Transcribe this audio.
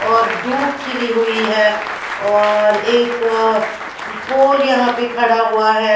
और धूप खिली हुई है और एक पोल यहाँ पे खड़ा हुआ है।